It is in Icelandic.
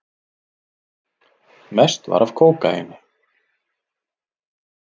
Mest var af kókaíni.